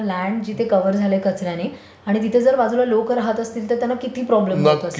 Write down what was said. हो.